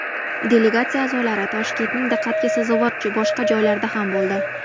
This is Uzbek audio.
Delegatsiya a’zolari Toshkentning diqqatga sazovor boshqa joylarida ham bo‘ldi.